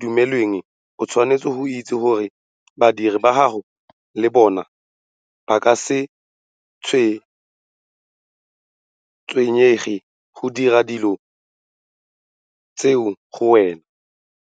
dumelweng, o tshwanetse go itse gore badiredi ba gago le bona ba ka se tshwenyege go dira tsona dilo tseo go wena!